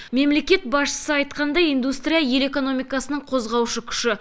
мемлекет басшысы айтқандай индустрия ел экономикасының қозғаушы күші